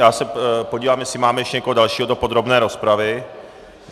Já se podívám, jestli máme ještě někoho dalšího do podrobné rozpravy.